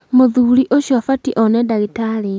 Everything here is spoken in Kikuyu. mũthuriũcio abatiĩ one ndagĩtari